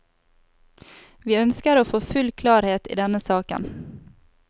Vi ønsker å få full klarhet i denne saken.